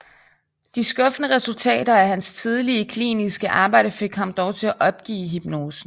De skuffende resultater af hans tidlige kliniske arbejde fik ham dog til at opgive hypnosen